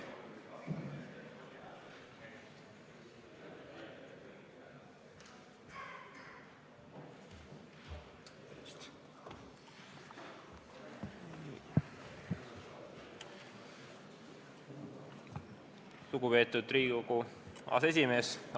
Lugupeetud Riigikogu aseesimees!